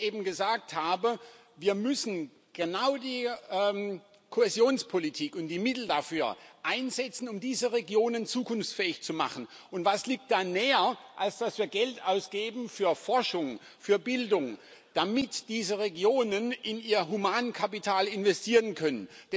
So wie ich eben gesagt habe Wir müssen genau die Kohäsionspolitik und die Mittel dafür einsetzen, um diese Regionen zukunftsfähig zu machen. Und was liegt da näher, als dass wir Geld für Forschung, für Bildung ausgeben, damit diese Regionen in ihr Humankapital investieren können?